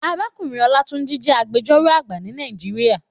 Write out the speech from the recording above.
Àrákúnrín Olatunji jè ágbèjòró àgbá ni Nàijiriá